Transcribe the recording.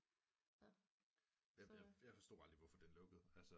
Jeg forstod aldrig hvorfor den lukkede altså